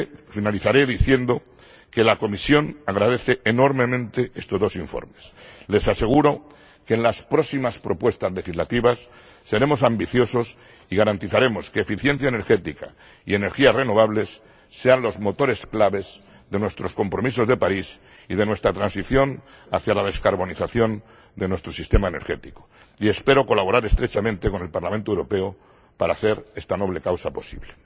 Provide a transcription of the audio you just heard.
Finalizaré diciendo que la Comisión agradece enormemente estos dos informes. Les aseguro que en las próximas propuestas legislativas seremos ambiciosos y garantizaremos que eficiencia energética y energías renovables sean los motores clave de nuestros compromisos de París y de nuestra transición hacia la descarbonización de nuestro sistema energético, y espero colaborar estrechamente con el Parlamento Europeo para hacer esta noble causa posible.